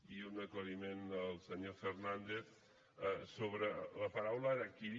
i un aclariment al senyor fernández sobre la paraula harakiri